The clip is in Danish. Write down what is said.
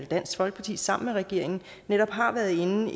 dansk folkeparti sammen med regeringen netop har været inde